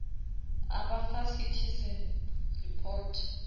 a ba fa citizen report